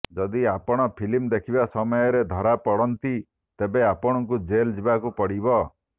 ଯଦି ଆପଣ ଫିଲ୍ମ ଦେଖିବା ସମୟରେ ଧରା ପଡନ୍ତି ତେବେ ଆପଣଙ୍କୁ ଜେଲ ଯିବାକୁ ପଡିବ